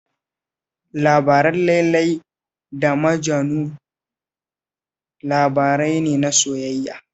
Labarin Lailai da Majanu labari ne na soyayya